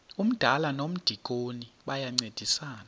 umdala nomdikoni bayancedisana